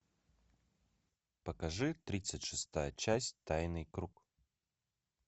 покажи тридцать шестая часть тайный круг